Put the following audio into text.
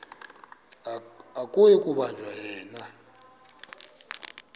akuyi kubanjwa yena